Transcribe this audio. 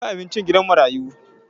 Ku kai abincin gidan marayu!